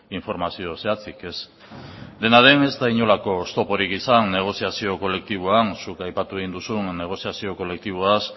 informazio zehatzik ez dena den ez da inolako oztoporik izan negoziazio kolektiboan zuk aipatu egin duzun negoziazio kolektiboaz